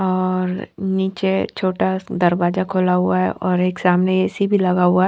और नीचे छोटा दरवाजा खुला हुआ हैं और एक सामने ए_सी भीं लगा हुआ--